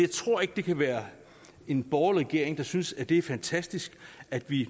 tror ikke det kan være en borgerlig regering der synes det er fantastisk at vi